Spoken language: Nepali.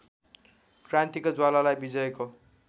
क्रान्तिको ज्वालालाई विजयको